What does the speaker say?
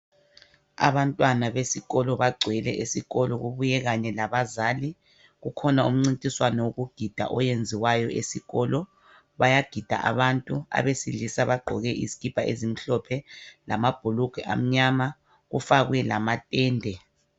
Abantwana besikolo bagcwele esikolo, kubuye kanye labazali. Kukhona umncintiswano wokugida oyenziwayo esikolo. Bayagida abantu, abesilisa bagqoke izikipa ezimhlophe lamabhulugwe amnyama, kufakwe lamatende.